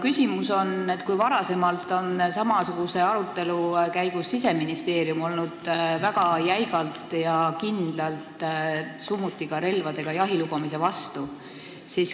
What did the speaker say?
Varem on Siseministeerium samasuguse arutelu käigus olnud väga jäigalt ja kindlalt summutiga relvaga jahi lubamise vastu.